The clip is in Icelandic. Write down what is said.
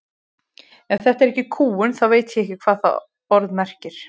Ef þetta er ekki kúgun þá veit ég ekki hvað það orð merkir.